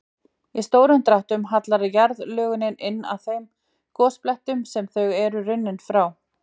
Í stórum dráttum hallar jarðlögunum inn að þeim gosbeltum sem þau eru runnin frá.